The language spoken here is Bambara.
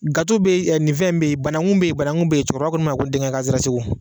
Gato be yen nin fɛn in be yen banangu be yen banangu be yen cɛkɔrɔba ko ne ma ko n denkɛ an sera segu